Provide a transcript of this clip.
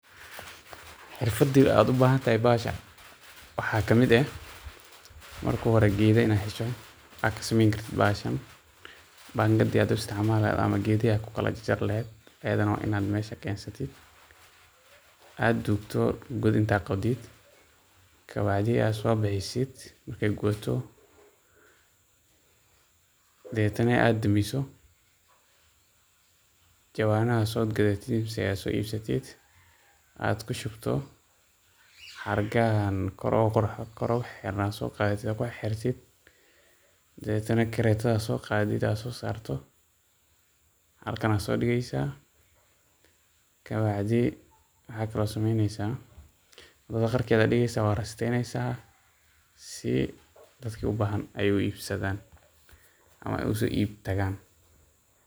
xirfada aad ugu baahan tahay bahasha waxa ka mid eh mark hore geedho ina hesho aad ka sameyni karto bahashaan Panga aad u istiicmale ama geedaha ad kukala jaare laad iyaadan waaina mesha keensatid aad duugto god inta qodiid ka bacdi ad so biixisid markey gubaato deebadhetana aad daamiso jawanada aad so ibsatid ad kushubtid xargaahan oo kor ogu xiraan aad so qaadatid ad kuxirxirtid debadhetena kareeto ad so qaadatid aad so saarto halkan aya so diigeysa kabacdi waaxa kale oo sameyniysa wadaada qarkeeda diigeysa waad rasteeyneysa si daadka ee u arkaan u ibsadaan ama uso ibtaagaan